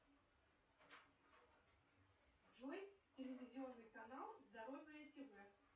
джой телевизионный канал здоровье тв